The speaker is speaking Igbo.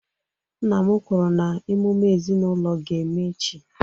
Nna m kwuru na emume ezinaụlọ ga-eme echi